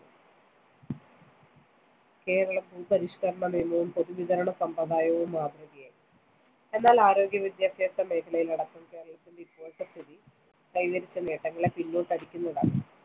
കേരള ഭൂപരിഷ്‌കരണ നിയമവും പൊതുവിതരണ സമ്പ്രദായവും മാതൃകയായി. എന്നാൽ ആരോഗ്യ വിദ്യാഭ്യാസ മേഖലയിലടക്കം കേരളത്തിന്റെ ഇപ്പോഴത്തെ സ്ഥിതി കൈവരിച്ച നേട്ടങ്ങളെ പിന്നോട്ടടിക്കുന്നതാണ്‌.